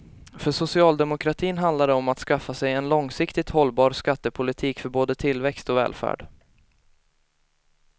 För socialdemokratin handlar det om att skaffa sig en långsiktigt hållbar skattepolitik för både tillväxt och välfärd.